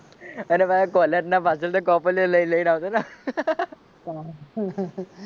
અને પાછા કોલેજ ના પાછળ થી કોપલિયો લઈ ને આવતા